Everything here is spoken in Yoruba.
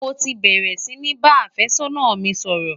mọ tí bèrè sí bá afe sónà mí sòrò